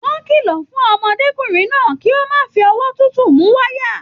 Wọn kìlọ fún ọmọdékunrin náà kí o má fí ọwọ́ tútù mú wayà.